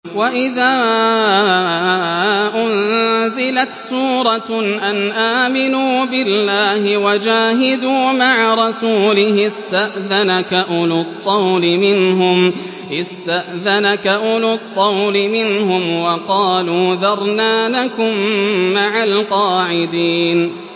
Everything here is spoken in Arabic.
وَإِذَا أُنزِلَتْ سُورَةٌ أَنْ آمِنُوا بِاللَّهِ وَجَاهِدُوا مَعَ رَسُولِهِ اسْتَأْذَنَكَ أُولُو الطَّوْلِ مِنْهُمْ وَقَالُوا ذَرْنَا نَكُن مَّعَ الْقَاعِدِينَ